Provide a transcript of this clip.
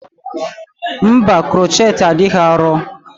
Mba, crochet adịghị arọ.